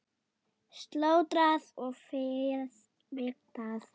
Slátrað og féð vigtað.